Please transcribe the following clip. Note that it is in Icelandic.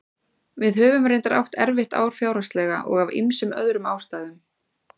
Við höfum reyndar átt erfitt ár fjárhagslega og af ýmsum öðrum ástæðum.